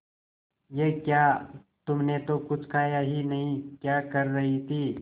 ये क्या तुमने तो कुछ खाया ही नहीं क्या कर रही थी